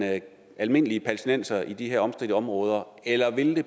almindelige palæstinenser i de her omstridte områder eller vil